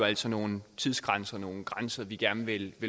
altså nogle tidsgrænser nogle grænser vi gerne vil